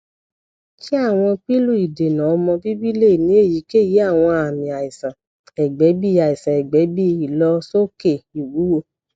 ṣe awọn pilu idena omo bibi le ni eyikeyi awọn aami aisan ẹgbẹ bi aisan ẹgbẹ bi ilosoke iwuwo